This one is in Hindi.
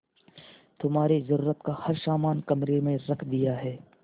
तुम्हारे जरूरत का हर समान कमरे में रख दिया है